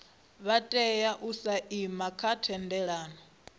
vha tea u saina thendelano